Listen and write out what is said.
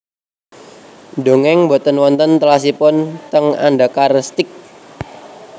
Ndongeng mboten wonten telasipun teng Andakar Steak